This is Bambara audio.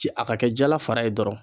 Ci a ka kɛ jala fara ye dɔrɔn